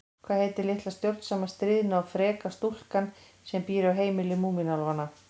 Hvað heitir litla stjórnsama, stríðna og freka stúlkan sem býr á heimili Múmínálfanna?